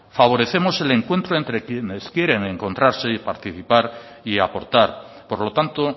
favorecemos el encuentro entre quienes quieren encontrarse y participar y aportar por lo tanto